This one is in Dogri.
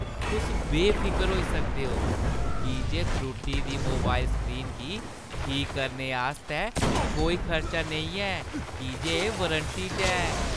तुस बेफिकर होई सकदे ओ की जे त्रुट्टी दी मोबाइल स्क्रीन गी ठीक करने आस्तै कोई खर्चा नेईं ऐ की जे एह् वारंटी च ऐ।